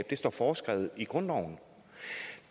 det står foreskrevet i grundloven